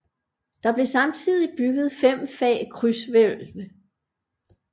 Der blev samtidigt bygget fem fag krydshvælv